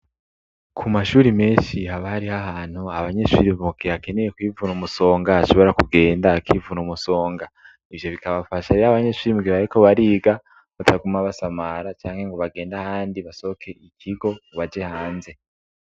Ku mashuri menshi haba habarih' ahantu abanyeshuri mugihe akeneye kwivuna umusonga ashobora kugenda akivun'umusonga ,ivyo bikabafasha iy' abanyeshuri mugihe bariko bariga bataguma basamara cange ngo bagend' handi basohok' ikigo baje hanze.